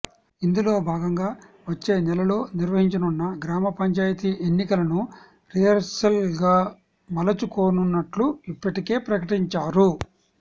ఇందులో భాగంగా వచ్చే నెలలో నిర్వహించనున్న గ్రామ పంచాయతీ ఎన్నికలను రిహార్సల్గా మలచు కోనున్నట్లు ఇప్పటికే ప్రకటించారు